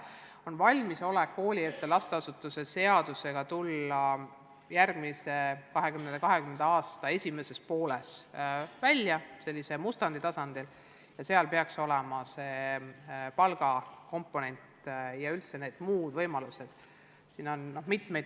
On valmisolek tulla koolieelse lasteasutuse seadusega 2020. aasta esimeses pooles mustandi tasandil välja ja seal peaks see palga komponent ja üldse muud võimalused sees olema.